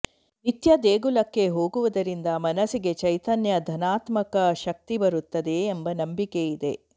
ನಿತ್ಯ ದೇಗುಲಕ್ಕೆ ಹೋಗುವುದರಿಂದ ಮನಸ್ಸಿಗೆ ಚೈತನ್ಯ ಧನಾತ್ಮಕ ಶಕ್ತಿ ಬರುತ್ತದೆ ಎಂಬ ನಂಬಿಕೆ ಇದೆ